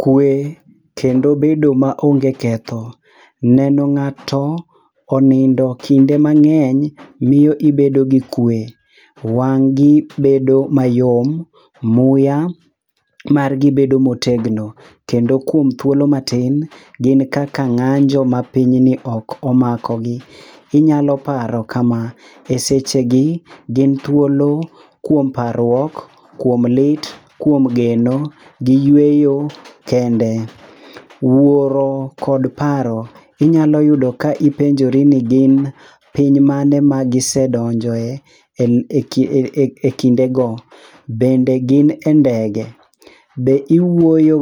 Kwe kendo bedo ma onge ketho- neno ng'ato onindo kinde mang'eny miyo ibedo gi kwe. Wang' gi bedo mayom, muya margi bedo motegno. Kendo kuom thuolo matin, gin kaka ng'anjo ma piny ni ok omako gi. Inyalo paro kama, e seche gi, gin thuolo kuom parruok, kuom lit, kuom geno, giyweyo kendo. Wuoro kod paro-inyalo yudo ka ipenjori ni gin piny mane ma gisedonjoe e kinde go. Bende gin e ndege, be iwuoyo